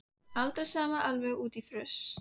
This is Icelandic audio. Aldrei samt alveg út í fruss.